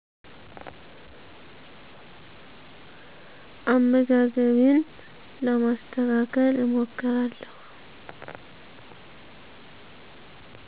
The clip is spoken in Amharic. አመጋገቤን ለማስተካከል እሞክራለሁ